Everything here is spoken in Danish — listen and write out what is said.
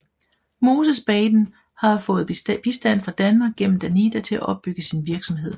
Moses Baiden har fået bistand fra Danmark gennem Danida til at opbygge sin virksomhed